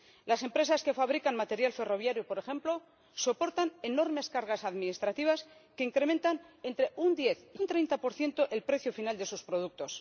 Las empresas que fabrican material ferroviario, por ejemplo, soportan enormes cargas administrativas que incrementan entre un 10 y un 30 el precio final de sus productos.